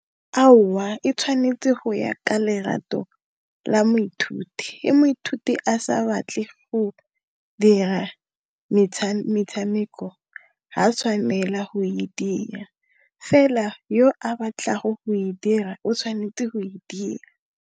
Aowa e tshwanetse go ya ka lerato la moithuti, he moithuti a sa batle go dira metshameko ga a tshwanela go e dira, fela yo a batlago go e dira o tshwanetse go e dira.